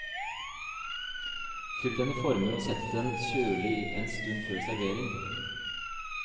Fyll den i former og sett den kjølig en stund før servering.